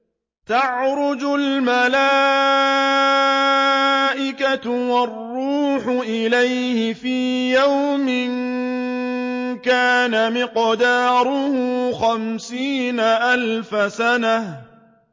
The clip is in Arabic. تَعْرُجُ الْمَلَائِكَةُ وَالرُّوحُ إِلَيْهِ فِي يَوْمٍ كَانَ مِقْدَارُهُ خَمْسِينَ أَلْفَ سَنَةٍ